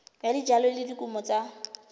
ya dijalo le dikumo tsa